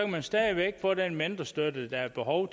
man stadig væk få den mentorstøtte der er behov